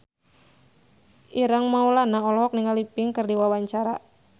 Ireng Maulana olohok ningali Pink keur diwawancara